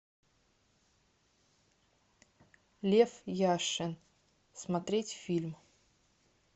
лев яшин смотреть фильм